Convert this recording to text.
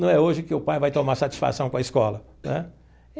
Não é hoje que o pai vai tomar satisfação com a escola né.